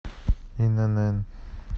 инн